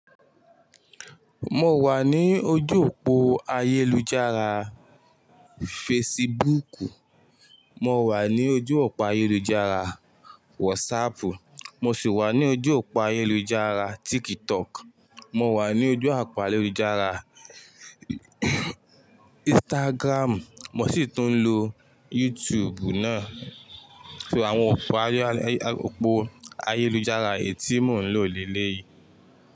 Mó wà ní ojú òpó ayélujára Facebook, mó wà ní ojú òpó ayélujára WhatsApp, mó sì wà ní ojú òpó ayélujára TikTok, mó wà ní ojú òpó ayélujára Instagram, mó sì ti ń lo YouTube náà. Ṣé àwọn òpó ayélujára ètí mo ń lò lélẹ̀ yìí?